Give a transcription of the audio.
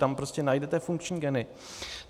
Tam prostě najdete funkční geny.